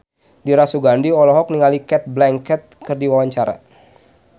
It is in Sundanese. Dira Sugandi olohok ningali Cate Blanchett keur diwawancara